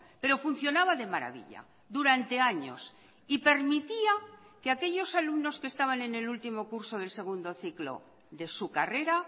pero funcionaba de maravilla durante años y permitía que aquellos alumnos que estaban en el último curso del segundo ciclo de su carrera